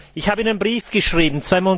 Ich habe Ihnen einen Brief geschrieben.